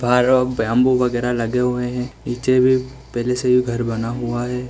भार औ बैंबू वगैरा लगे हुए हैं नीचे भी पहले से ही घर बना हुआ है।